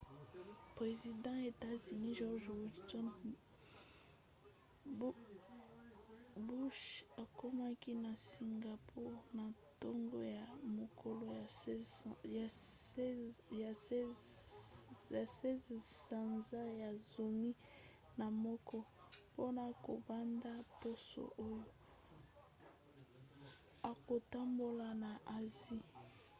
president ya etats-unis george w. bursh akomaki na singapour na ntongo ya mokolo ya 16 sanza ya zomi na moko mpona kobanda poso oyo akotambola na asie